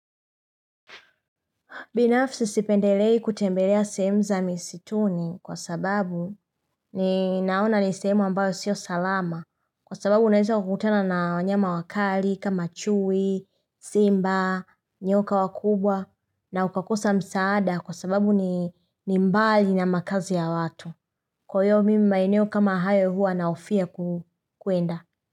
Binafsi sipendelei kutembelea sehemu za misituni kwa sababu ni naona nisehemu ambayo sio salama kwa sababu unaweza ukutana na nyama wakali kama chui, simba, nyoka wakubwa na ukakosa msaada kwa sababu ni mbali na makazi ya watu. Kwa hiyo mimi maeneo kama hayo hua nahofia kuenda.